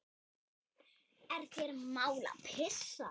Er þér mál að pissa?